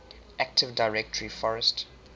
active directory forest